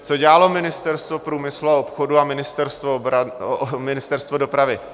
Co dělalo Ministerstvo průmyslu a obchodu a Ministerstvo dopravy?